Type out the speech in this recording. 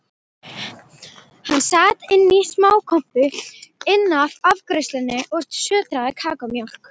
Hann sat inní smákompu innaf afgreiðslunni og sötraði kakómjólk.